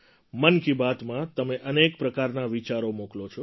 મન કી બાતમાં તમે અનેક પ્રકારના વિચારો મોકલો છો